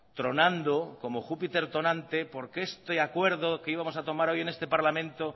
tronando como júpiter tonante porque este acuerdo que íbamos a tomar hoy en este parlamento